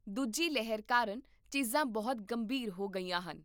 ਦੂਜੀ ਲਹਿਰ ਕਾਰਨ ਚੀਜ਼ਾਂ ਬਹੁਤ ਗੰਭੀਰ ਹੋ ਗਈਆਂ ਹਨ